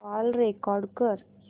call record कर